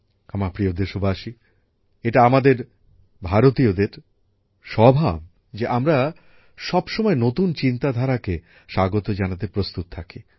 আমার প্রিয় দেশবাসী এটা আমাদের ভারতীয়দের স্বভাব যে আমরা সবসময় নতুন চিন্তাধারাকে স্বাগত জানাতে প্রস্তুত থাকি